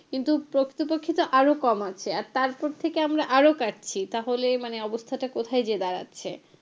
কিন্তু প্রকৃতপক্ষে তো আরও কম আছে আর তার ওপর থেকে আমরা আরও কাটছি তাহলে মানে অবস্থাটা কোথায় গিয়ে দাঁড়াচ্ছে,